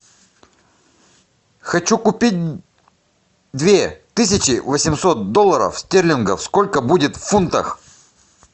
хочу купить две тысячи восемьсот долларов стерлингов сколько будет в фунтах